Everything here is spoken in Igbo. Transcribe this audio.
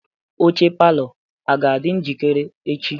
Oche palọ a ga-adị njikere echi?